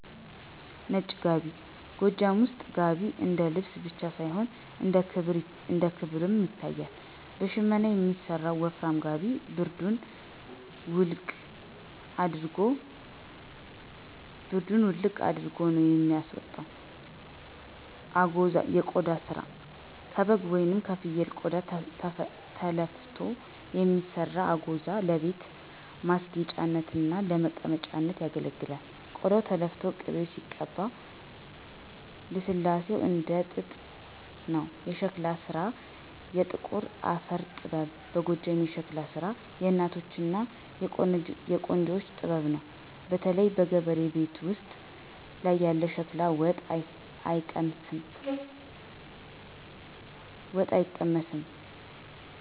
ነጭ ጋቢ፦ ጎጃም ውስጥ "ጋቢ" እንደ ልብስ ብቻ ሳይሆን እንደ ክብርም ይታያል። በሽመና የሚሰራው ወፍራም ጋቢ ብርዱን "ውልቅ" አድርጎ ነው የሚያወጣው። አጎዛ (የቆዳ ስራ)፦ ከበግ ወይም ከፍየል ቆዳ ተለፍቶ የሚሰራው "አጎዛ" ለቤት ማስጌጫነትና ለመቀመጫነት ያገለግላል። ቆዳው ተለፍቶ ቅቤ ሲቀባው ልስላሴው እንደ ጥጥ ነው። የሸክላ ስራ (የጥቁር አፈር ጥበብ) በጎጃም የሸክላ ስራ የእናቶችና የቆንጆዎች ጥበብ ነው። በተለይ በገበሬው ቤት ውስጥ ያለ ሸክላ ወጥ አይቀመስም!